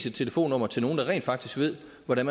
et telefonnummer til nogen der rent faktisk ved hvordan